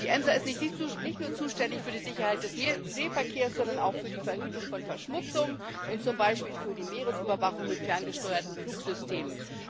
Die EMSA ist nicht nur zuständig für die Sicherheit des Seeverkehrs, sondern auch für die Verhütung von Verschmutzung und zum Beispiel für die Meeresüberwachung mit ferngesteuerten Flugsystemen.